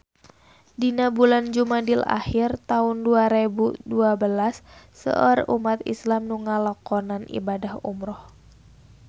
Dina bulan Jumadil ahir taun dua rebu dua belas seueur umat islam nu ngalakonan ibadah umrah